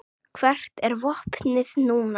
Hvert er vopnið núna?